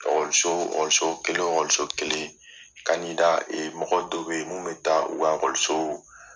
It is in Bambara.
kelen wo kelen ee mɔgɔ dɔ be yen mun be taa u ka